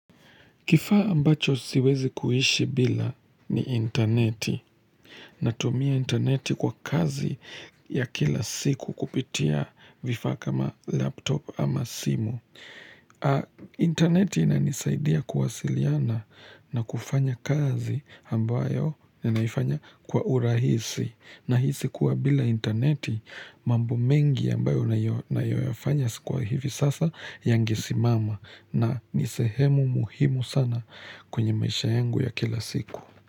Kifaa ambacho siwezi kuishi bila ni interneti. Natumia interneti kwa kazi ya kila siku kupitia vifaa kama laptop ama simu. Interneti inanisaidia kuwasiliana na kufanya kazi ambayo naifanya kwa urahisi. Nahisi kuwa bila interneti mambo mengi ambayo nayoyafanya kwa hivi sasa yange simama. Na ni sehemu muhimu sana kwenye maisha yangu ya kila siku.